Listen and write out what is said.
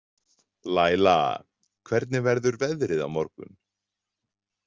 Læla, hvernig verður veðrið á morgun?